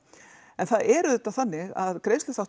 en það er auðvitað þannig að